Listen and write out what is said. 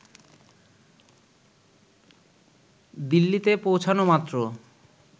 দিল্লিতে পৌঁছানো মাত্র